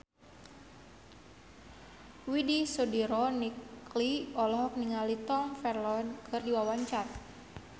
Widy Soediro Nichlany olohok ningali Tom Felton keur diwawancara